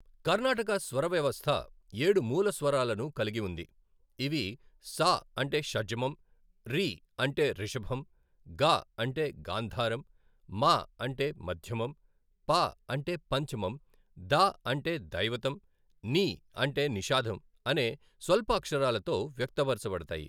కర్నాటక స్వర వ్యవస్థ ఏడు మూల స్వరాలను కలిగి ఉంది, ఇవి స అంటే షడ్జమం, రి అంటే రిషభం, గ అంటే గాంధారం, మ అంటే మాధ్యమం, ప అంటే పంచమం, ద అంటే దైవతం, ని అంటే నిషాదం అనే స్వల్ప అక్షరాలతో వ్యక్త పరచబడతాయి.